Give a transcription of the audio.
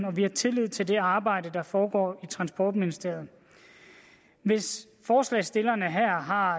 og vi har tillid til det arbejde der foregår i transportministeriet hvis forslagsstillerne her har